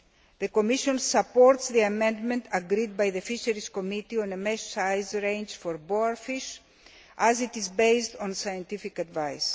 The Commission supports the amendment agreed by the Fisheries Committee on a mesh size range for boarfish, as it is based on scientific advice.